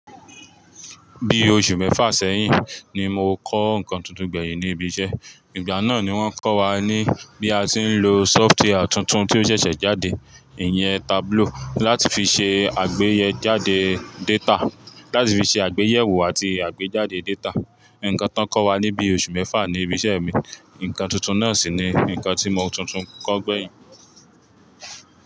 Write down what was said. Bi oṣù mẹ́fà sẹ́yìn ni mo kọ́ nǹkan tuntun gbẹ̀yìn ni ibi iṣẹ́. Ìgbà náà ni wọ́n kọ́ wa ní bí a ti ń lo sóftwíà tuntun tí ó ṣẹ̀ṣẹ̀ jáde, ìyẹn Tableau láti fi ṣe àgbéyéjáde data, láti fi ṣe àgbéyẹ̀wò àti àgbéjáde data. Ǹǹkan tán kọ́ wa níbí oṣù mẹ́fà ní ibi iṣẹ́ mi. Ǹǹkan tuntun náà sì ni ǹkan tí mo tuntun kọ́ gbẹ̀yìn.